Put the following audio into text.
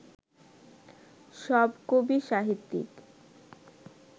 সব কবি, সাহিত্যিক